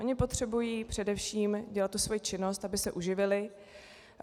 Oni potřebují především dělat tu svoji činnost, aby se uživili.